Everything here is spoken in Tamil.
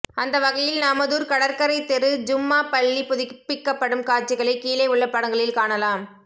அந்த வகையில் நமதூர் கடற்கரைத் தெரு ஜும்மா பள்ளி புதுப்பிக்கப்படும் காட்சிகளை கீழே உள்ள படங்களில் காணலாம்